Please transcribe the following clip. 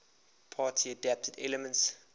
party adapted elements